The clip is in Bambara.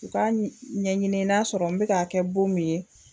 U ka ɲɛɲini n'a sɔrɔ n be k'a ka kɛ bon min ye